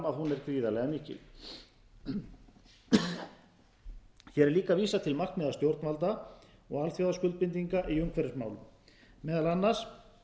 húneer gríðarlega mikil hér er líka vísað til markmiða stjórnvalda og alþjóðaskuldbindinga í umhverfismálum meðal annars